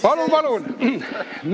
Palun, palun!